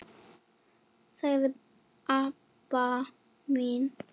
sagði Abba hin.